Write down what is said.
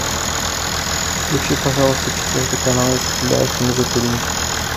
включи пожалуйста четвертый канал если тебя это не затруднит